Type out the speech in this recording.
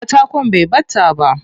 Katakon bai ɓata ba.